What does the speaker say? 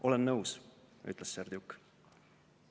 "Olen nõus," ütles Serdjuk.